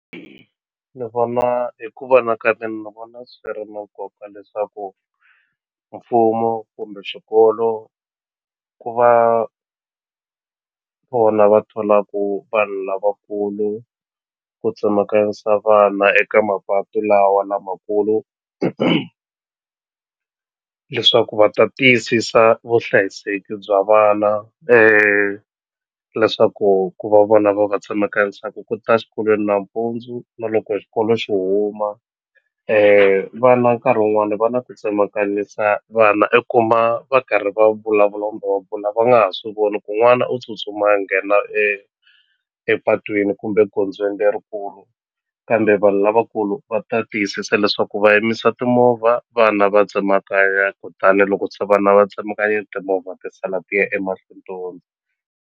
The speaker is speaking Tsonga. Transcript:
Ni vona hi ku vona ka mina ni vona swi ri na nkoka leswaku mfumo kumbe xikolo ku va vona va tholaku vanhu lavakulu ku tsemakanyisa vana eka mapatu lawa lamakulu leswaku va ta tiyisisa vuhlayiseki bya vana leswaku ku va vona va va tsemekanyisaku ku ta xikolweni nampundzu na loko xikolo xi huma vana nkarhi wun'wani va na ku tsemakanyisa vana i kuma va karhi va vulavula kumbe va nga ha swi voni ku n'wana u tsutsuma nghena epatwini kumbe gondzweni lerikulu kambe vanhu lavakulu va ta tiyisisa leswaku va yimisa timovha vana va tsemakanya kutani loko se vana va tsemakanyile timovha ti sala ti ya emahlweni .